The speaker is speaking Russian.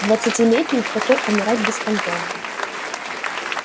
двадцатилетним в такой умирать беспонтово